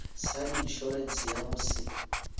sa inšorense ya go se